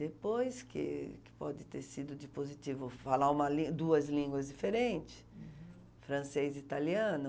Depois que que pode ter sido de positivo falar uma língua duas línguas diferentes, uhum, francês e italiano,